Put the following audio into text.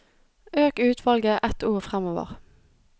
Øk utvalget ett ord framover